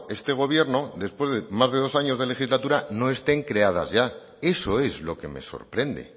este gobierno después de más de dos años de legislatura no estén creadas ya eso es lo que me sorprende